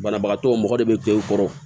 Banabagatɔ mɔgɔ de bɛ k'e kɔrɔ